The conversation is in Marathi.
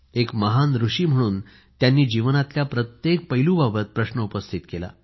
एक महान ऋषी म्हणून त्यांनी जीवनातल्या प्रत्येक पैलू बाबत प्रश्न उपस्थित केला